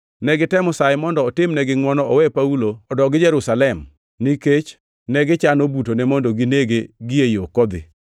Ne gitemo saye mondo otimnegi ngʼwono owe Paulo odogi Jerusalem nikech negichano butone mondo ginege gie yo kodhi.